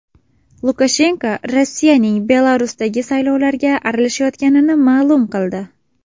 Lukashenko Rossiyaning Belarusdagi saylovlarga aralashayotganini ma’lum qildi.